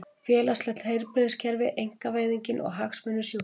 Félagslegt heilbrigðiskerfi, einkavæðingin og hagsmunir sjúklinga.